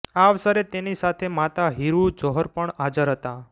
આ અવસરે તેની સાથે માતા હીરૂ જોહર પણ હાજર હતાં